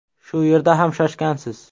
Shu yerda ham shoshgansiz.